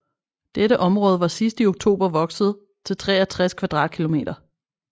Dette område var sidst i oktober vokset til 63 km2